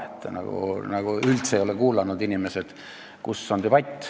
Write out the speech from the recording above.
Inimesed ei oleks nagu üldse debatti kuulanud.